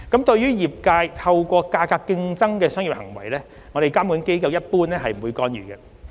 對於業界透過價格競爭的商業行為，監管機構一般不會干預。